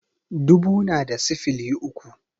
Dubu na da sifili uku